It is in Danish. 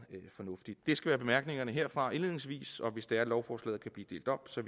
fornuftigt det skal være bemærkningerne herfra indledningsvis og hvis det er at lovforslaget kan blive delt op så